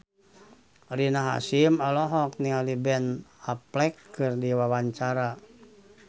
Rina Hasyim olohok ningali Ben Affleck keur diwawancara